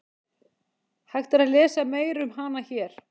Hægt er að lesa meira um hana hér.